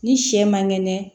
Ni sɛ man kɛnɛ